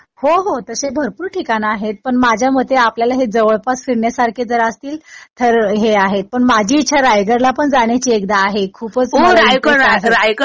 हो हो. तसे भरपूर ठिकाणं आहेत पण माझ्या मते आपल्याला हे जवळपास फिरण्यासारखे जर असतील तर हे आहेत. पण माझी इच्छा रायगडला पण जाण्याची एकदा आहे. खूपच मला इंटरेस्ट आहे.